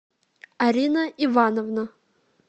арина ивановна